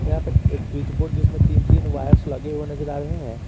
यहां पे एक स्विच बोर्ड जिसमें तीन तीन वायर्स लगे हुए नजर आ रहे हैं।